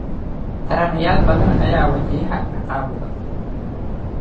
Taranayaal badan ayaa wajahaya caqabado.